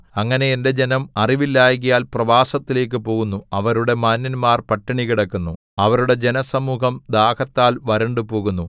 അങ്ങനെ എന്റെ ജനം അറിവില്ലായ്കയാൽ പ്രവാസത്തിലേക്കു പോകുന്നു അവരുടെ മാന്യന്മാർ പട്ടിണികിടക്കുന്നു അവരുടെ ജനസമൂഹം ദാഹത്താൽ വരണ്ടുപോകുന്നു